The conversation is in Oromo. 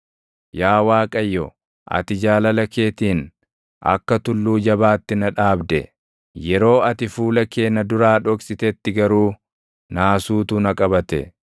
Yaa Waaqayyo, ati jaalala keetiin akka tulluu jabaatti na dhaabde; yeroo ati fuula kee na duraa dhoksitetti garuu naasuutu na qabate.